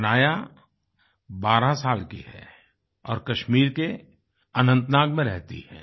हनाया 12 साल की है और कश्मीर के अनंतनाग में रहती है